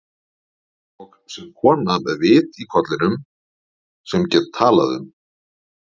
Og sem kona með vit í kollinum, sem get talað um